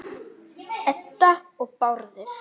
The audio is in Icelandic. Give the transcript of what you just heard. Edda og Bárður.